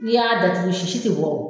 Ni y'a datugu sisi ti bɔ o